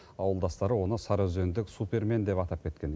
ауылдастары оны сарыөзендік супермен деп атап кеткен